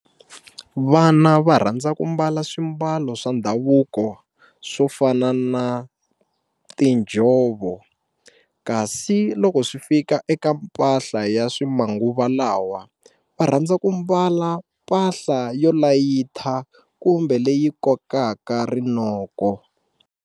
Vana va rhandza ku mbala swimbalo swa ndhavuko swo fana na tinjhovo kasi loko swi fika eka mpahla ya swi manguva lawa va rhandza ku mbala mpahla yo layitha kumbe leyi kokaka rinoko.